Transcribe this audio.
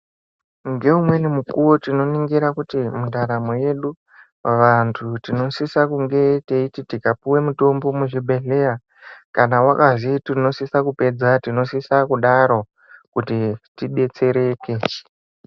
Nge umweni mukuwo tino ningira kuti mu ndaramo yedu vantu tinosise kunge teiti tika puwe mutombo mu zvibhedhleya kana wakazi tinosisa kupedza tinosisa kudaro kuti ti detsereke.